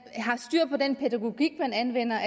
har den pædagogik man anvender